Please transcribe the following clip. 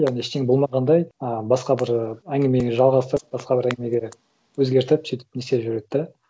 яғни ештеңе болмағандай ы басқа бір әңгімені жалғастырып басқа бір әңгімеге өзгертіп сөйтіп не істеп жүреді да